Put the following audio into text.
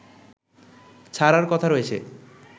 ছাড়ার কথা রয়েছে